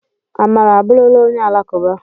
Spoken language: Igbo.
Amara abụrụla onye Alakụba